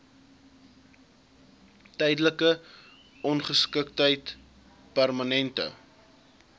tydelike ongeskiktheid permanente